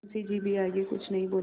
मुंशी जी भी आगे कुछ नहीं बोले